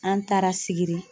An taara sigiri